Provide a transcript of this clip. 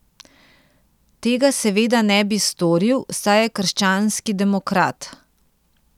Tega seveda ne bi storil, saj je krščanski demokrat.